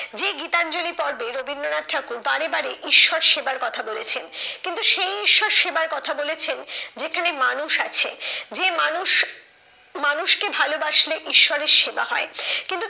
যে গীতাঞ্জলি পর্বে রবীন্দ্রনাথ ঠাকুর বারে বারে ঈশ্বর সেবার কথা বলেছেন। কিন্তু সেই ঈশ্বর সেবার কথা বলেছেন যেখানে মানুষ আছে যে মানুষ মানুষকে ভালোবাসলে ঈশ্বরের সেবা হয়। কিন্তু তিনি